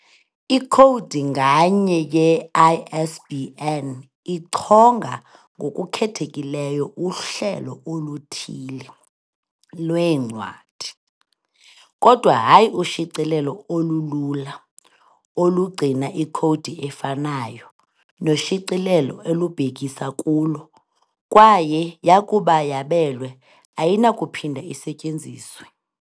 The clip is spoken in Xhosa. Ikhowudi nganye ye-ISBN ichonga ngokukhethekileyo uhlelo oluthile lwencwadi, kodwa hayi ushicilelo olulula, olugcina ikhowudi efanayo noshicilelo olubhekisa kulo kwaye, yakuba yabelwe, ayinakuphinda isetyenziswe.